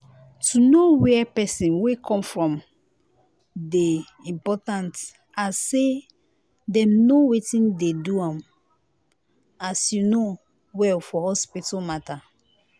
to know where pesin wey come from dey important as say dem know wetin dey do um as you no well for hospital matter.